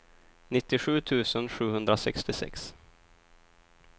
nittiosju tusen sjuhundrasextiosex